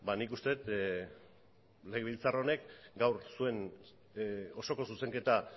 nik uste dut legebiltzar honek gaur zuen osoko zuzenketa